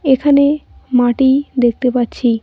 এখানে মাটি দেখতে পাচ্ছি।